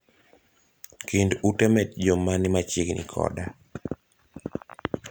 Kind ute metjo mani machiegni koda